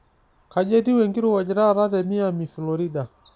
kaji etiu enkirowuaj taata te miami florida